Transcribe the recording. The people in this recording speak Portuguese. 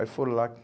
Aí foram lá.